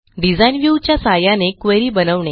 design view च्या सहाय्याने query बनवणे